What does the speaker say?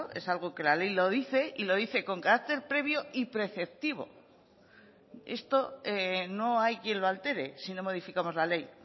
es algo que la ley lo dice y lo dice con carácter previo y preceptivo esto no hay quien lo altere si no modificamos la ley